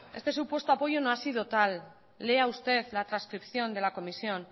este supuesto apoyo no ha sido tal lea usted la trascripción de la comisión